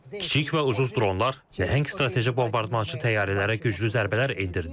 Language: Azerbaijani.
Kiçik və ucuz dronlar nəhəng strateji bombardmançı təyyarələrə güclü zərbələr endirdi.